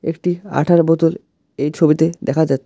একটি আঠার বোতল এই ছবিতে দেখা যাচ্ছে।